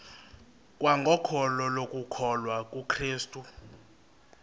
kwangokholo lokukholwa kukrestu